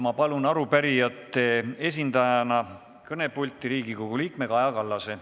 Ma palun arupärijate esindajana kõnepulti Riigikogu liikme Kaja Kallase.